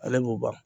Ale b'o ban